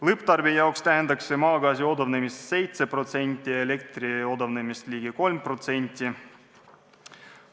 Lõpptarbija jaoks tähendaks see maagaasi odavnemist 7% ja elektri odavnemist ligi 3%.